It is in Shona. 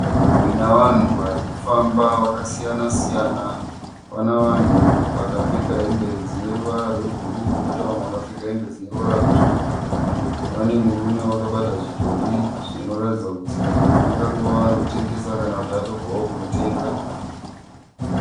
Nzvimbo ine vanhu vari kufamba vakasiyana-siyana pane vanhu vakapfeka hembe dzine ruvara rwebhuruu koita vamwe vane hembedzine ruvara rwutsvuku. Pane murume akabata zvidhori anoraidza kuti ari kutengesa kana arikubvawo kunotenga.